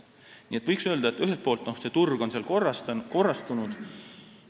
Nii et võiks öelda, et mõnes mõttes on see turg korrastunud.